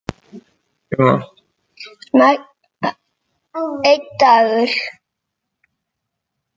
Einn dagur!